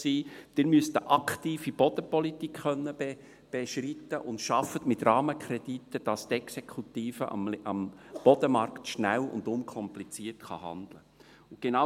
«Sie müssen eine aktive Bodenpolitik beschreiten können, und arbeiten Sie mit Rahmenkrediten, damit die Exekutive am Bodenmarkt schnell und unkompliziert handeln kann.»